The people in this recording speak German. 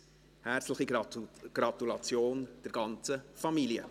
Herzliche Gratulation der ganzen Familie!